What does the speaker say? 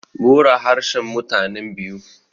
bura harshen mutanen biu